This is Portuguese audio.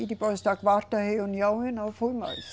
E depois da quarta reunião eu não fui mais.